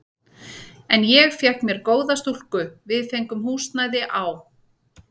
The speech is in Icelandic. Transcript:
En ég fékk með mér góða stúlku, við fengum húsnæði á